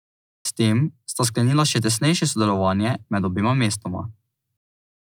S tem sta sklenila še tesnejše sodelovanje med obema mestoma.